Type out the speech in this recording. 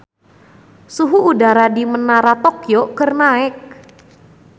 Suhu udara di Menara Tokyo keur naek